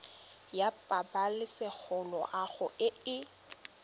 ya pabalesego loago e e